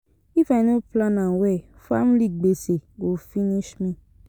If I no plan am well, family gbese go finish me.